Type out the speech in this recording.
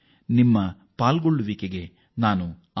ನಿಮ್ಮೆಲ್ಲರ ಕೊಡುಗೆಗೆ ನಾನು ಆಭಾರಿ